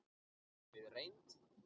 Við reynd